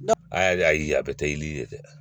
A yɛrɛ y'a ye a bɛ kɛ i ni ye dɛ